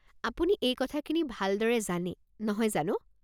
আপুনি এই কথাখিনি ভালদৰে জানে, নহয় জানো?